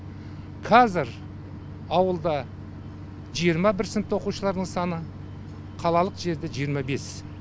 қазір ауылда жиырма бір сыныпта оқушылардың саны қалалық жерде жиырма бес